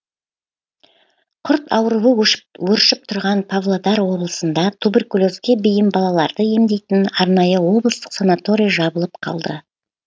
құрт ауруы өршіп тұрған павлодар облысында туберкулезге бейім балаларды емдейтін арнайы облыстық санаторий жабылып қалды